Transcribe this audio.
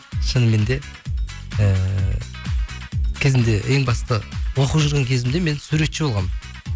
шынымен де ііі кезінде ең басты оқып жүрген кезімде мен суретші болғанмын